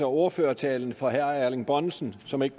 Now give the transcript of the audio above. ordførertalen for herre erling bonnesen som ikke